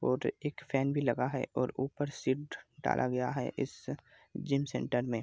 और एक फैन भी लगा है और ऊपर सीड डाला गया है इस जिम सेंटर में।